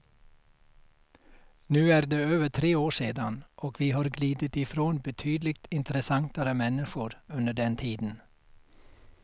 Nu är det över tre år sedan, och vi har glidit ifrån betydligt intressantare människor under den tiden.